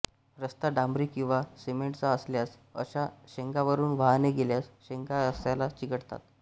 रस्ता डांबरी किंवा सिमेंटचा असल्यास अशा शेंगांवरून वाहने गेल्यास शेंगा रस्त्याला चिकटतात